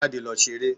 Jáde lọ ṣeré.